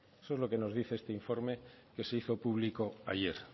esto es lo que nos dice este informe que se hizo público ayer